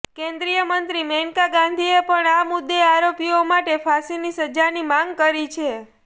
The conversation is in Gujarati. કેન્દ્રીય મંત્રી મેનકા ગાંધીએ પણ આ મુદ્દે આરોપીઓ માટે ફાંસીની સજાની માંગ કરી છે